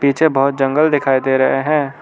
पीछे बहोत जंगल दिखाई दे रहे हैं।